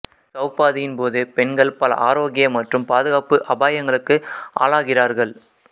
சௌபாதியின் போது பெண்கள் பல ஆரோக்கிய மற்றும் பாதுகாப்பு அபாயங்களுக்கு ஆளாகிறார்கள்